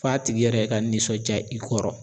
F'a tigi yɛrɛ ka nisɔndiya i kɔrɔ.